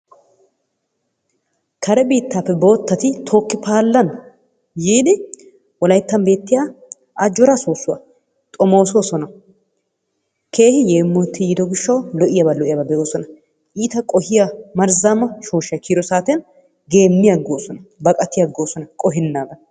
Kare biittappe boottati tooki-paalan yiidi wolayttan beettiya ajoraa soosuwaa xomossosona keehi yeemotti yiido gishshawu lo'iyaaba lo'iyaaba be'ossona. Iitta qohiyaa marzzama shooshshay kiyiyido saattiyan geemiaggossona baqqatiaggosona qohenaadan.